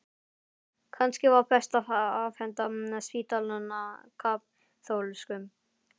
Kannski var best að afhenda spítalann kaþólskum?